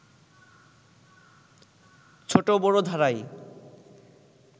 ছোট বড় ধারায়